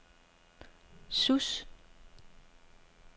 Sousse